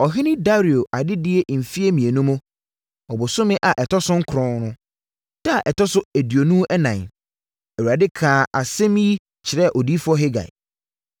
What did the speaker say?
Ɔhene Dario adedie mfeɛ mmienu mu, ɔbosome a ɛtɔ so nkron no da a ɛtɔ so aduonu ɛnan, Awurade kaa saa asɛm yi kyerɛɛ Odiyifoɔ Hagai.